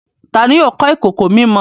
Tani yóò kọ ìkòkò mímọ?